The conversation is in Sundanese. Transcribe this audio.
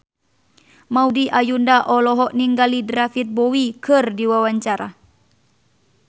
Maudy Ayunda olohok ningali David Bowie keur diwawancara